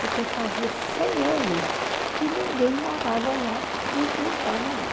Porque fazia cem anos que ninguém morava lá, nem plantava lá.